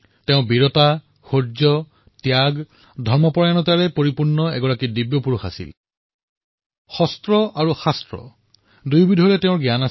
তেওঁ বীৰত্ব শৌৰ্য ত্যাগী মনোভাৱৰ ধৰ্মপৰায়ণ দিব্য পুৰুষ আছিল যাৰ অস্ত্ৰ আৰু শাস্ত্ৰৰ বিষয়ে অলৌকিক জ্ঞান আছিল